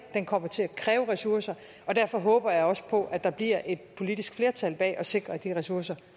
den kommer til at kræve ressourcer og derfor håber jeg også på at der bliver et politisk flertal bag at sikre at de ressourcer